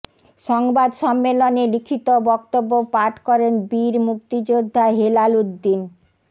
সংবাদ সম্মেলনে লিখিত বক্তব্য পাঠ করেন বীর মুক্তিযোদ্ধা হেলাল উদ্দিন